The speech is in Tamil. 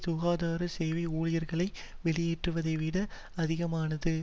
சுகாதார சேவை ஊழியர்களை வெளியேற்றுவதைவிட அதிகமானது